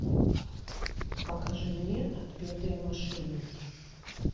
покажи мне отпетые мошенники